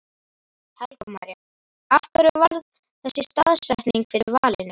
Helga María: Af hverju varð þessi staðsetning fyrir valinu?